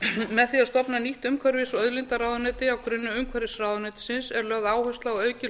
með því að stofna nýtt umhverfis og auðlindaráðuneyti á grunni umhverfisráðuneytisins er lögð áhersla á aukið